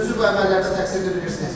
Özünüzü bu əmələrdə təqsirli bilirsiniz?